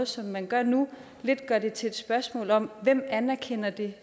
som man gør det nu lidt gør det til et spørgsmål om hvem anerkender det